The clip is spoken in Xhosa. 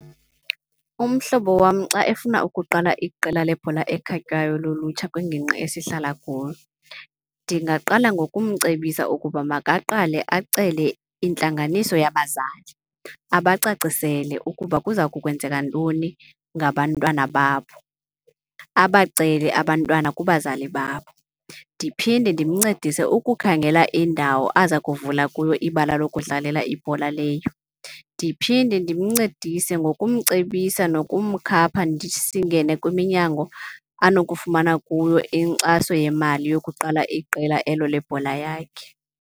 Umhlobo wam xa efuna ukuqala iqela lebhola ekhatywayo lolutsha kwingingqi esihlala kuyo, ndingaqala ngokumcebisa ukuba makaqale acele intlanganiso yabazali. Abacacisele ukuba kuza kwenzeka ntoni ngabantwana babo, abacele abantwana kubazali babo. Ndiphinde ndimncedise ukukhangela indawo aza kuvula kuyo ibala lokudlalela ibhola leyo. Ndiphinde ndimncedise ngokumcebisa nokumkhapha ndithi singene kwiminyango abanokufumana kuyo inkxaso yemali yokuqala iqela elo lebhola yakhe.